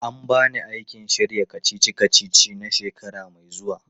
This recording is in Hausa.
An ba ni aikin shirya kacici-kacici na shekara mai zuwa.